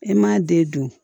E m'a den dun